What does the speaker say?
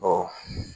Ɔ